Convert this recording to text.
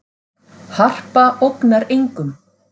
Harpa ógnar engum